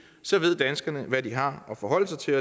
så ved danskerne hvad de har at forholde sig til